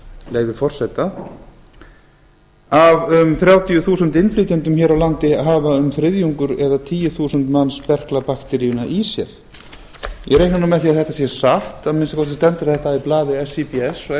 leyfi forseta af um þrjátíu þúsund innflytjendum hér á landi hafa um þriðjungur eða tíu þúsund manns berklabakteríuna í sér ég reikna með því að þetta sé satt að minnsta kosti stendur þetta í blaði síbs og síbs